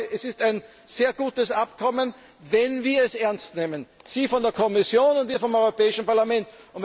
Es ist ein sehr gutes Abkommen, wenn wir es ernst nehmen Sie von der Kommission und wir vom Europäischen Parlament!